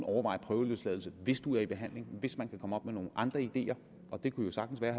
overveje prøveløsladelse hvis den dømte er i behandling hvis man kunne komme op med nogle andre ideer og det kunne jo sagtens være